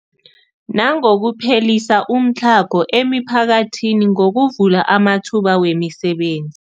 Nangokuphelisa umtlhago emiphakathini ngokuvula amathuba wemisebenzi.